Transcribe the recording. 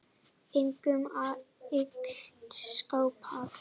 Engum er illt skapað.